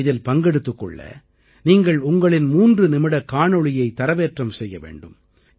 இதில் பங்கெடுத்துக் கொள்ள நீங்கள் உங்களின் 3 நிமிட காணொளியை தரவேற்றம் செய்ய வேண்டும்